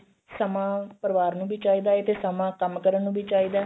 ਸਮਾਂ ਪਰਿਵਾਰ ਨੂੰ ਵੀ ਚਾਹੀਦਾ ਏ ਤੇ ਸਮਾਂ ਕੰਮ ਕਰਨ ਨੂੰ ਵੀ ਚਾਹੀਦਾ